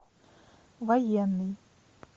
военный